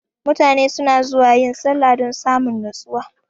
mutane suna zuwa yin sallah dan samun nustuwa.